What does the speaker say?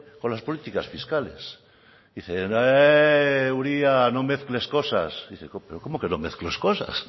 con las políticas fiscales y dicen señor uria no mezcles cosas pero cómo que no mezcles cosas